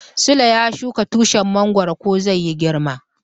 Sule ya shuka tushin mongoro ko zai yi girma.